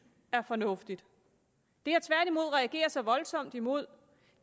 er fornuftigt det jeg tværtimod reagerer så voldsomt imod